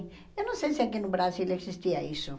Eu não sei se aqui no Brasil existia isso.